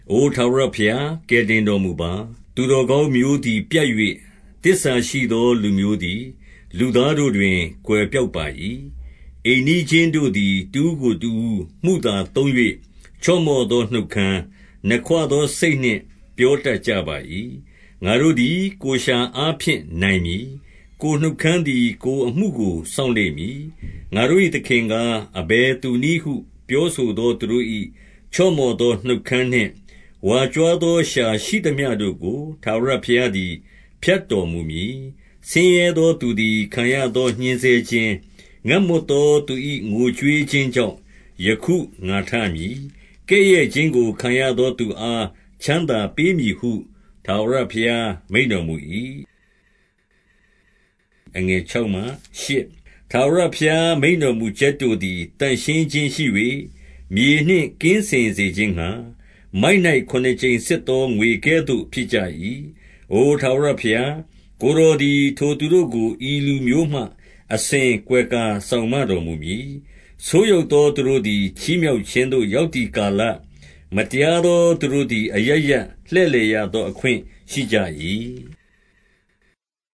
အိုထာဝရဘုရား၊ ကယ်တင်တော်မူပါ။ သူတော် ကောင်းမျိုးသည် ပြတ်၍ သစ္စာရှိသောလူမျိုးသည် လူသားတို့တွင် ကွယ်ပျောက်ပါ၏။ အိမ်နီးချင်းတို့သည် တဦးကိုတဦး မုသာသုံး၍ ချော့မော့သော နှုတ်ခမ်း၊ နှစ်ခွသော စိတ်နှင့်ပြောတတ် ကြပါ၏။ ငါတို့သည် ကိုယ်လျှာအားဖြင့် နိုင်မည်။ ကိုယ်နှုတ်ခမ်းသည် ကိုယ်အမှုကို စောင့်လိမ့် မည်။ ငါတို့၏သခင်ကား အဘယ်သူနည်းဟု ပြောဆို သော သူတို့၏ ချော့မော့သော နှုတ်ခမ်းနှင့် ဝါကြွားသော လျှာရှိသမျှတို့ကို ထာဝရဘုရားသည် ဖြတ်တော်မူမည်။ ဆင်းရဲသောသူသည် ခံရသောညှဉ်းဆဲခြင်း၊ ငတ်မွတ်သောသူ၏ ငိုကြွေးခြင်းကြောင့် ယခုငါထမည်။ ကဲ့ရဲ့ခြင်းကိုခံရသော သူအား ချမ်းသာပေးမည်ဟု ထာဝရဘုရားမိန့်တော်မူ၏။ ထာဝရဘုရား မိန့်တော်မူချက်တို့သည် သန့်ရှင်း ခြင်းရှိ၍ မြေနှင့် ကင်းစင်စေခြင်းငှါ၊ မိုက်၌ခုနစ်ကြိမ် စစ်သော ငွေကဲ့သို့ဖြစ်ကြ၏။ အိုထာဝရဘုရား၊ ကိုယ်တော်သည် ထိုသူတို့ကို ဤလူမျိုးမှ အစဉ်ကာကွယ်စောင့်မတော်မူမည်။ ဆိုးယုတ်သောသူတို့သည် ချီးမြှောက်ခြင်းသို့ ရောက်သည် ကာလ၊ မတရားသောသူတို့သည် အရပ်ရပ် လှည့်လည်ရသော အခွင့်ရှိကြ၏။